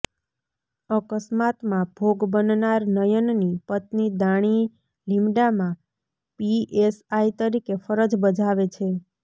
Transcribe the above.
અકસ્માતમાં ભોગ બનનાર નયનની પત્ની દાણીલીમડામાં પીએસઆઇ તરીકે ફરજ બજાવે છે